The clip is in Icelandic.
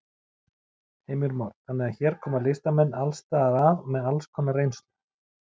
Heimir Már: Þannig að hér koma listamenn alls staðar að með alls konar reynslu?